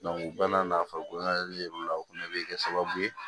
u bɛɛ n'a nafoloko ye o fɛnɛ bɛ kɛ sababu ye